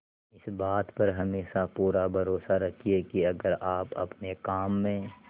इस बात पर हमेशा पूरा भरोसा रखिये की अगर आप अपने काम में